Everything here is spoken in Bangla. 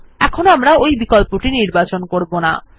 যাইহোক এখানে আমরা ওই বিকল্পটি নির্বাচন করবো না